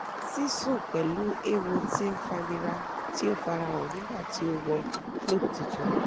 sisun pẹ̀lú ewo tí ń fànírà tí o farahàn nígbà tí o wọ́ float tuntun